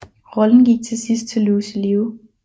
Rollen gik til sidst til Lucy Liu